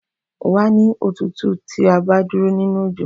Wàá ní òtútù tí o bá dúró nínú òjò